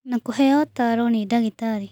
Na kũheo ũtaaro nĩ ndagĩtarĩ